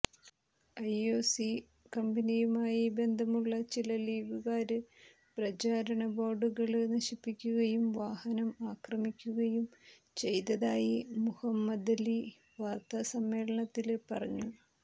IOC കമ്പനിയുമായി ബന്ധമുള്ള ചില ലീഗുകാര് പ്രചാരണ ബോര്ഡുകള് നശിപ്പിക്കുകയും വാഹനം ആക്രമിക്കുകയും ചെയ്തതായി മുഹമ്മദലി വാര്ത്താസമ്മേളനത്തില് പറഞ്ഞു